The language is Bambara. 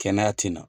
Kɛnɛya tɛna